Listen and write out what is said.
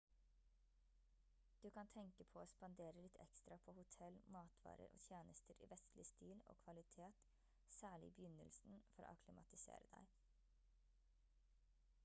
du kan tenke på å spandere litt ekstra på hotell matvarer og tjenester i vestlig stil og kvalitet særlig i begynnelsen for å akklimatisere deg